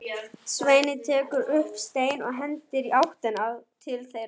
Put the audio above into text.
Svenni tekur upp stein og hendir í áttina til þeirra.